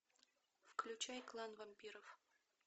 включай клан вампиров